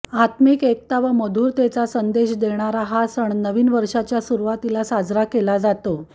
आत्मिक एकता व मधुरतेचा संदेश देणारा हा सण नवीन वर्षाच्या सुरुवातीला साजरा केला जातो